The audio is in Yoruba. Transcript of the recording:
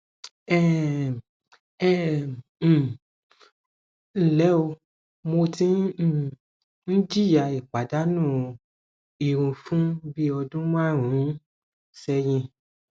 um ẹ um ǹlẹ o mo tí um ń jìyà ìpàdánù irun fún bí ọdún márùnún sẹyìn